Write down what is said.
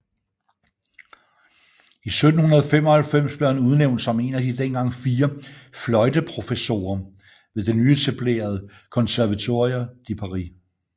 I 1795 blev han udnævnt som en af de dengang fire fløjteprofessorer ved det nyetablerede Conservatoire de Paris